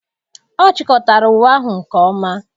Ọ chịkọtara uwe ahụ nke ọma.